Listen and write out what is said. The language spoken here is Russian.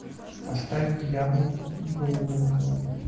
поставь дьявол в голубом платье